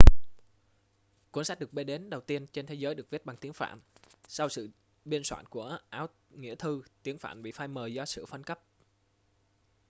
cuốn sách được biết đến đầu tiên trên thế giới được viết bằng tiếng phạn sau sự biên soạn của áo nghĩa thư tiếng phạn bị phai mờ do sự phân cấp